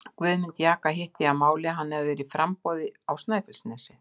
Guðmund jaka hitti ég að máli, hann hafði verið í framboði á Snæfellsnesi.